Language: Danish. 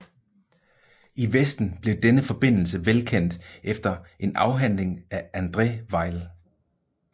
I Vesten blev denne forbindelse velkendt efter en afhandling af André Weil